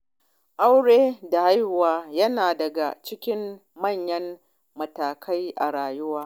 Auren da haihuwar yara na daga cikin manyan matakai a rayuwa.